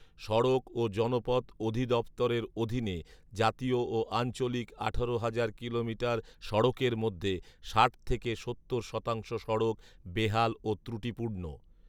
সড়ক ও জনপথ অধি দফতরের অধীনে জাতীয় ও আঞ্চলিক আঠারো হাজার কিলোমিটার সড়কের মধ্যে ষাট থেকে সত্তর শতাংশ সড়ক বেহাল ও ত্রুটিপূর্ণ